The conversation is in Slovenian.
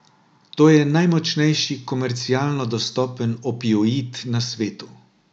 To je najmočnejši komercialno dostopen opioid na svetu.